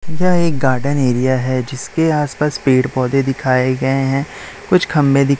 यह एक garden area है जिसके आस पास पेड़ पौधे दिखाए गए हैं कुछ खंभे दी--